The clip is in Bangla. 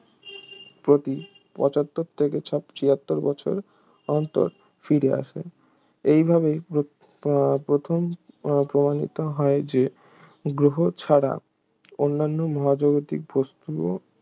প্রতি পঁচাত্তর থেকে ছা ছিয়াত্তর বছর অন্তর ফিরে আসে এইভাবেই প্ৰ উহ প্রথম প্রমাণিত হয় যে গ্রহ ছাড়া অন্নান্য মহাজাগতিক বস্তুও